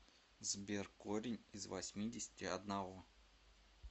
сбер корень из восьмидесяти одного